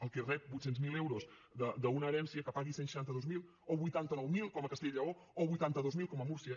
el que rep vuit cents miler euros d’una herència que pagui cent i seixanta dos mil o vuitanta nou mil com a castella i lleó o vuitanta dos mil com a múrcia